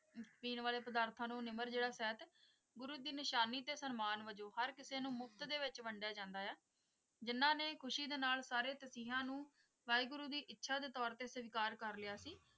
ਪੀਣ ਵਾਲੇ ਪਦਾਰਥਾਂ ਨੂੰ ਨਿਮਰਤਾ ਜਿਹੜਾ ਸਹਿਤ ਗੁਰੂ ਦੀ ਨਿਸ਼ਾਨੀ ਤੇ ਸਨਮਾਨ ਵਜੋਂ ਹਰ ਕਿਸੇ ਨੂੰ ਮੁਫ਼ਤ ਦੇ ਵਿੱਚ ਵੰਡਿਆ ਜਾਂਦਾ ਹੈ ਜਿਨ੍ਹਾਂ ਨੇ ਖੁਸ਼ੀ ਦੇ ਨਾਲ ਸਾਰੇ ਤਸੀਹਿਆਂ ਨੂੰ ਵਾਹਿਗੁਰੂ ਦੀ ਇੱਛਾ ਦੇ ਤੌਰ ਤੇ ਸਵੀਕਾਰ ਕਰ ਲਿਆ ਸੀ।